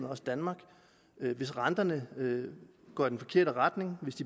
også danmark hvis renterne går i den forkerte retning